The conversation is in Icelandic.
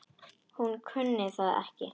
Hún kunni það ekki.